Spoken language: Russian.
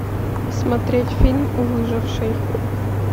смотреть фильм выживший